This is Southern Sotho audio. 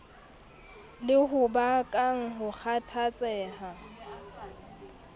le ho bakang ho kgathatseha